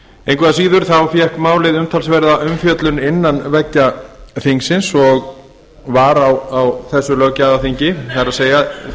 engu að síður fékk málið umtalsverða umfjöllun innan veggja þingsins og var á því löggjafarþingi það er því